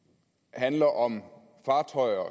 handler om fartøjer